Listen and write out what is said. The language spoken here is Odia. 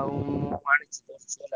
ଆଉ ମୁଁ